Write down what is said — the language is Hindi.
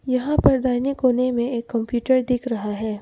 यहां पर दाहिने कोने में एक कंप्यूटर दिख रहा है।